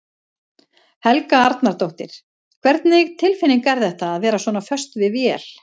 Helga Arnardóttir: Hvernig tilfinning er þetta, að vera svona föst við vél?